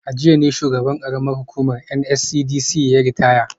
A jiya ne dai shugaban hukumar NSCDC yayi ritaya